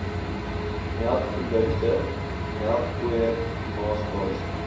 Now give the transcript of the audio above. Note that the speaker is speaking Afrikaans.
melkprodukte melkpoeier maaskaas